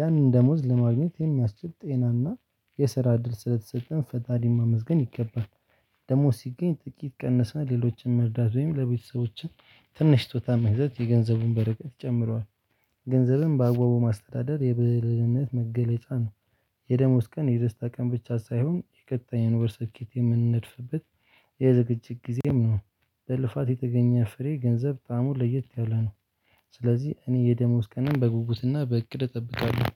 ያንን ደሞዝ ለማግኘት የሚያስችል ጤናና የስራ እድል ስለተሰጠን ፈጣሪን ማመስገን ይገባል። ደሞዝ ሲገኝ ጥቂት ቀነስን ሌሎችን መርዳት ወይም ለቤተሰቦችን ትንሽ ስጦታ መግዛት የገንዘቡን በረከት ጨምሯል። ገንዘብም ባግባቡ ማስተዳደር የብልህነት መገለጫ ነው። የደሞዝ ቀን የደስታ ቀን ብቻ ሳይሆን የቀጣይ ወር ስኬት የምንድፍበት የዝግጅት ጊዜም ነው። በልፋት የተገኘ ፍሬ ገንዘብ ጣዕሙ ለየት ያለ ነው። ስለዚህ እኔ የደሞዝ ቀንን በጉጉትና በእቅድ እጠብቃለሁ